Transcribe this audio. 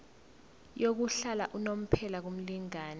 yokuhlala unomphela kumlingani